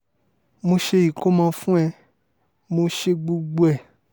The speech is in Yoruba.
mo ṣe ìkọ́mọ fún ẹ mo ṣe gbogbo ẹ̀